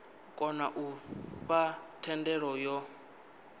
kona u fha thendelo yo